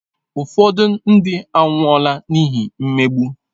Ụfọdụ ndị anwụọla n’ihi mmegbu.